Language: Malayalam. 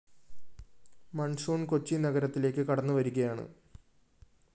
മോൺസോൺ കൊച്ചി നഗരത്തിലേക്ക് കടന്നു വരികയാണ്